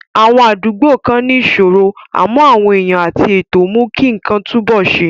Àwọn àdúgbò kan ní ìṣòro, àmọ́ àwọn èèyàn àti ètò mú kí nǹkan túnbọ̀ ṣe.